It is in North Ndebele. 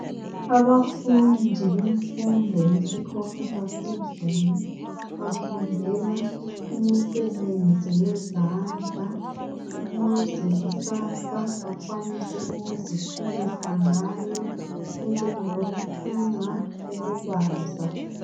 Abafundi bemfundo yesikolo saphezulu bafundela imisebenzi yezandla ukuze kusasa bakwanise ukuziphilisa ngayo enjengeyokuthunga ukubuza.